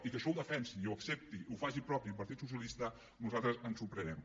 i que això ho defensi i ho accepti i ho faci propi el partit socialista a nosaltres ens sorprèn